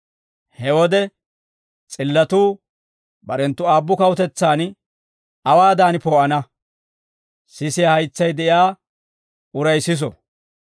He wode s'illatuu barenttu aabbu kawutetsaan awaadan poo'ana. Sisiyaa haytsay de'iyaa uray siso!